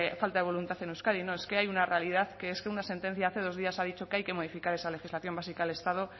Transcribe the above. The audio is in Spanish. falta de voluntad en euskadi no es que hay una realidad que es que una sentencia hace dos días ha dicho que hay que modificar esa legislación básica del estado